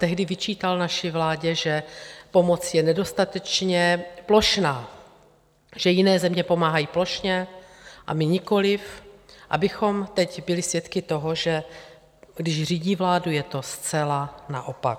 Tehdy vyčítal naší vládě, že pomoc je nedostatečně plošná, že jiné země pomáhají plošně, a my nikoli - abychom teď byli svědky toho, že když řídí vládu, je to zcela naopak.